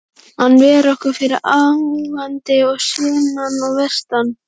Hann ver okkur fyrir ágangi að sunnan og vestan.